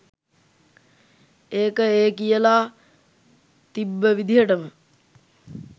ඒක ඒ කියල තිබ්බ විදිහටම